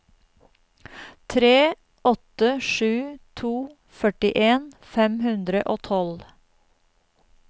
tre åtte sju to førtien fem hundre og tolv